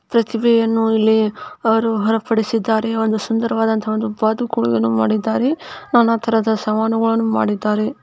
ಪ್ರತಿಭೆಯನ್ನು ಇಲ್ಲಿ ಅವರು ಹೊರಪಡಿಸಿದ್ದಾರೆ ಒಂ ದು ಸುಂದರವಾದಂತಹ ಒಂದು ಬಾತುಕೋಳಿಯನ್ನು ಮಾಡಿದ್ದಾರೆ ನಾನಾ ತರಹದ ಸವಾಲುಗಳನ್ನು ಮಾಡಿದ್ದಾರೆ.